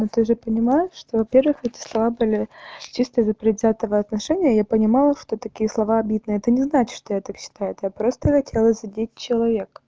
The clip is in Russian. ну ты же понимаешь что во-первых эти слова были чисто из-за предвзятого отношения я понимала что такие слова обидны это не значит что я так считаю это я просто хотела задеть человека